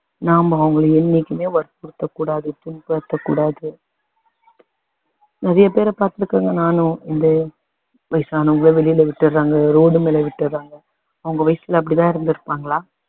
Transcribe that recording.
நாம அவங்கள என்னைக்குமே வற்புறுத்த கூடாது புண்படுத்தக் கூடாது நிறைய பேர பாத்திருக்கேன் நானும் இந்த வயசானவங்கள வெளில விட்டுடறாங்க road மேல விட்டுடறாங்க அவங்க வயசுல இப்படி தான் இருந்திருப்பாங்களா